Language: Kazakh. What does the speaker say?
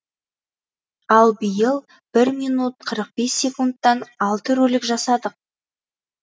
ал биыл бір минут қырық бес секундтан алты ролик жасадық